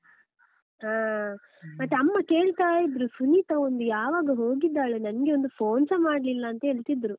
ಹಾ, ಮತ್ತೆ ಅಮ್ಮ ಕೇಳ್ತಾ ಇದ್ರು ಸುನೀತ ಒಂದು ಯಾವಾಗ ಹೋಗಿದ್ದಾಳೆ ನನ್ಗೆ ಒಂದು phone ಸಾಮಾಡ್ಲಿಲ್ಲ ಅಂತ ಹೇಳ್ತಿದ್ರು.